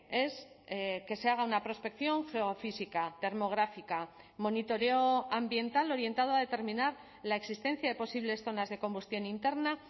es que se haga una prospección geofísica termográfica monitoreo ambiental orientado a determinar la existencia de posibles zonas de combustión interna